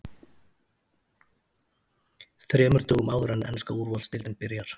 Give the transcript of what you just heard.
ÞREMUR DÖGUM áður en enska Úrvalsdeildin byrjar?